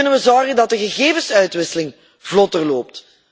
Hoe kunnen we zorgen dat de gegevensuitwisseling vlotter loopt?